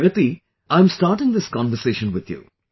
Pragati, I am starting this conversation with you